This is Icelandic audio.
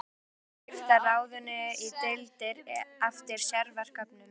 Heimilt er að skipta ráðinu í deildir eftir sérverkefnum.